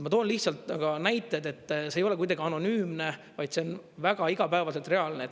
Ma toon lihtsalt ka näited, et see ei ole kuidagi anonüümne, vaid see on väga igapäevaselt reaalne.